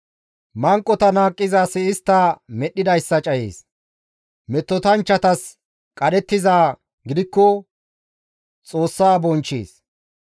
Manqota naaqqiza asi istta medhdhidayssa cayees; metotanchchatas qadhettizaa gidikko Xoossa bonchchees.